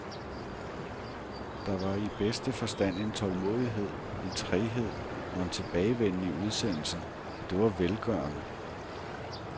Der var i bedste forstand en tålmodighed, en træghed og en tilbagevenden i udsendelsen, og det var velgørende.